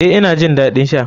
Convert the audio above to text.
Eh, ina jin dadin sha.